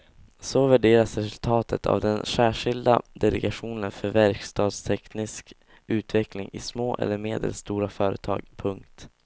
Så värderas resultatet av den särskilda delegationen för verkstadsteknisk utveckling i små eller medelstora företag. punkt